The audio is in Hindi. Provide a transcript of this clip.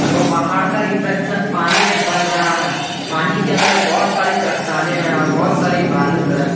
तो पहाड़ का रिफ्लेक्शन पानी में बन रहा है पानी के अंदर बहुत सारी चट्टानें है और बहुत सारी बालू है।